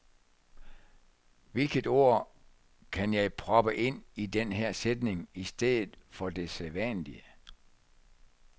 Hvilket ord kan jeg proppe ind i den her sætning i stedet for det sædvanlige?